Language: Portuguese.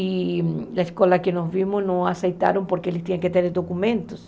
E a escola que nós vimos não aceitaram porque eles tinham que ter documentos.